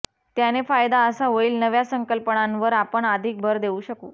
त्याने फायदा असा होईल नव्या संकल्पनांवर आपण अधिक भर देऊ शकू